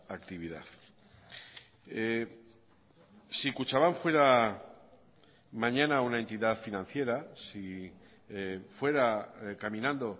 actividad si kutxabank fuera mañana una entidad financiera si fuera caminando